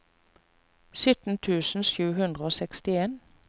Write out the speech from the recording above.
sytten tusen sju hundre og sekstien